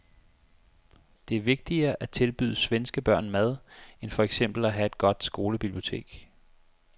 Det er vigtigere at tilbyde svenske børn mad end for eksempel at have et godt skolebibliotek.